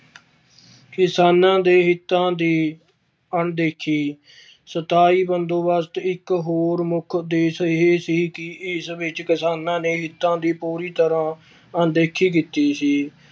ਕਿਸਾਨਾਂ ਦੇ ਹਿੱਤਾਂ ਦੀ ਅਣਦੇਖੀ ਸਥਾਈ ਬੰਦੋਬਸਤ ਇੱਕ ਹੋਰ ਮੁੱਖ ਉਦੇਸ਼ ਇਹ ਸੀ ਕਿ ਇਸ ਵਿੱਚ ਕਿਸਾਨਾਂ ਦੇ ਹਿੱਤਾਂ ਦੀ ਪੂਰੀ ਤਰ੍ਹਾਂ ਅਣਦੇਖੀ ਕੀਤੀ ਸੀ।